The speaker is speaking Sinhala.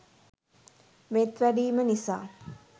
මෙත් වැඩීම නිසා